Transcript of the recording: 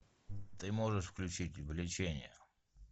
ты можешь включить влечение